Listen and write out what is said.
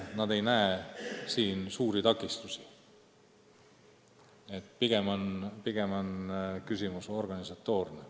Nad ei näe suuri takistusi, pigem on küsimus organisatoorne.